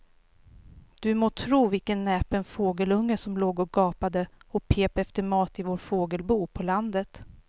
Du må tro vilken näpen fågelunge som låg och gapade och pep efter mat i vårt fågelbo på landet.